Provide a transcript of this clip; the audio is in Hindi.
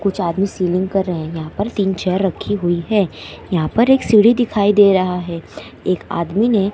कुछ आदमी सेलिंग कर रहे हैं। यहां पर तीन चेयर रखी हुई है। यहां पर एक सीढ़ी दिखाई दे रहा है। एक आदमी ने--